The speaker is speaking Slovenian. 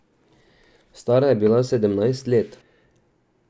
Stara je bila sedemnajst let.